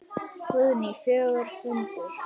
Guðný: Fjörugur fundur?